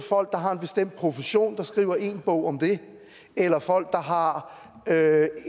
folk der har en bestemt profession og skriver én bog om det eller folk der har